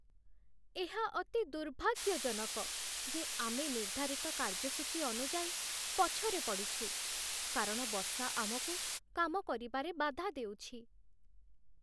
ଏହା ଅତି ଦୁର୍ଭାଗ୍ୟଜନକ ଯେ ଆମେ ନିର୍ଦ୍ଧାରିତ କାର୍ଯ୍ୟସୂଚୀ ଅନୁଯାୟୀ ପଛରେ ପଡ଼ିଛୁ, କାରଣ ବର୍ଷା ଆମକୁ କାମ କରିବାରେ ବାଧା ଦେଉଛି।